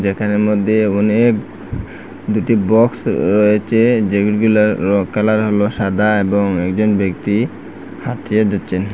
এখানের মদ্যে অনেক দুটি বক্স রয়েচে যেইগুলার র কালার হল সাদা এবং একজন ব্যক্তি দিচ্চেন ।